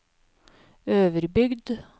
Øverbygd